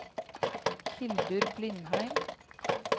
Hildur Blindheim